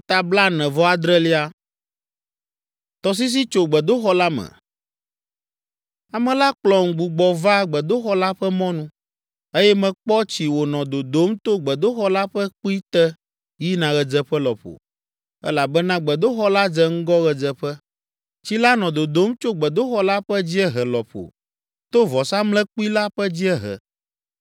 Ame la kplɔm gbugbɔ va gbedoxɔ la ƒe mɔnu, eye mekpɔ tsi wònɔ dodom to gbedoxɔ la ƒe kpui te yina ɣedzeƒe lɔƒo, elabena gbedoxɔ la dze ŋgɔ ɣedzeƒe. Tsi la nɔ dodom tso gbedoxɔ la ƒe dziehe lɔƒo to vɔsamlekpui la ƒe dziehe.